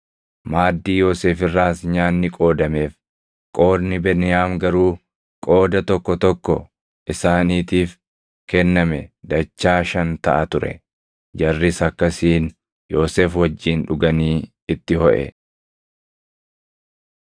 Maaddii Yoosef irraas nyaanni qoodameef; qoodni Beniyaam garuu qooda tokko tokko isaaniitiif kenname dachaa shan taʼa ture. Jarris akkasiin Yoosef wajjin dhuganii itti hoʼe.